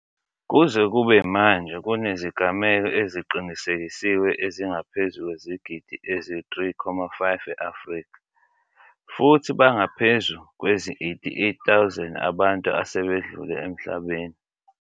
Kuze kube manje kunezigameko eziqinisekisiwe ezingaphezu kwezigidi ezi-3.5 e-Afrika, futhi bangaphezu kwezi88 000 abantu asebedlule emhlabeni.